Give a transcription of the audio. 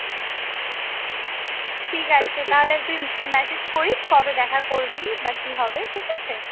ঠিক আছে তাহলে তুই message করিস কবে দেখা করবি বা কি হবে ঠিক আছে